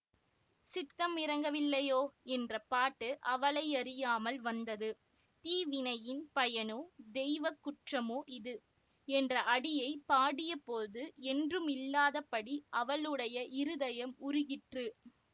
சித்தமிரங்கவில்லையோ என்ற பாட்டு அவளையறியாமல் வந்தது தீவினையின் பயனோ தெய்வ குற்றமோ இது என்ற அடியை பாடியபோது என்றுமில்லாதபடி அவளுடைய இருதயம் உருகிற்று